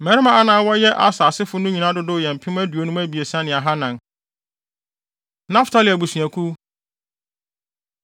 Mmarima a na wɔyɛ Aser asefo no nyinaa dodow yɛ mpem aduonum abiɛsa ne ahannan (53,400). Naftali Abusuakuw